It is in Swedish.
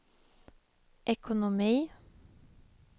ekonomi